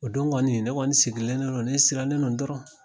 O don kɔni ne kɔni ne sigilen de don ne sirannen don dɔrɔn